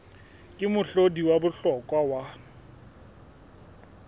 ke mohlodi wa bohlokwa wa